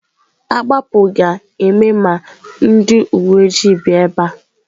Agbapụ ga-eme ma ndị uwe ojii bịa ebe a.